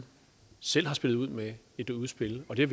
selv har spillet ud med et udspil det